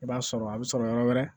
I b'a sɔrɔ a bɛ sɔrɔ yɔrɔ wɛrɛ